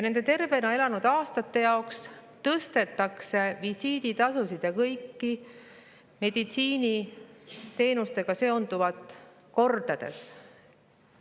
Nende tervena elatud aastate jaoks tõstetakse visiiditasusid ja kõiki meditsiiniteenustega seonduvaid kordades.